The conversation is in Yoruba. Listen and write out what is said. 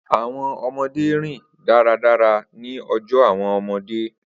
Awọn ọmọde rin daradara ni ọjọ awọn ọmọde